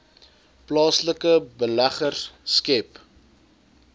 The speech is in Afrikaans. plaaslike beleggers skep